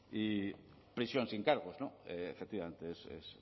y prisión sin cargos efectivamente es